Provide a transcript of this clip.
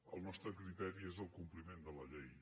el nostre criteri és el compliment de la llei